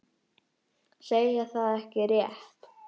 Segja það ekki rétt.